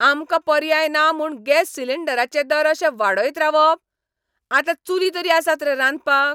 आमकां पर्याय ना म्हूण गॅस सिलिंडराचे दर अशे वाडयत रावप? आतां चुली तरी आसात रे रांदपाक?